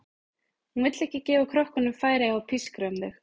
Hún vill ekki gefa krökkunum færi á að pískra um þau.